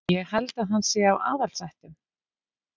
Ég held að hann sé af aðalsættum.